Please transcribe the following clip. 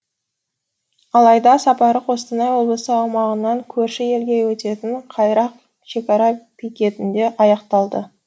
алайда сапары қостанай облысы аумағынан көрші елге өтетін қайрақ шекара бекетінде аяқталды